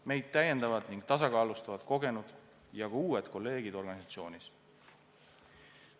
Meid täiendavad ning tasakaalustavad kogenud ja ka uued kolleegid organisatsioonis.